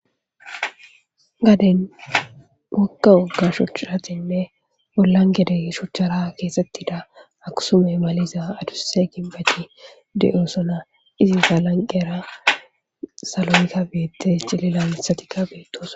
Gaden mokka wogga shuchchatinne bollan gede shuchchara keesettida aksume maliza aduse gibbeti de7osona izi galanqera salonika beette cilila mithatikka beettoos